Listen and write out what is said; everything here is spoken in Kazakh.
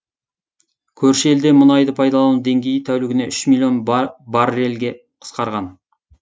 көрші елде мұнайды пайдалану деңгейі тәулігіне үш миллион баррелге қысқарған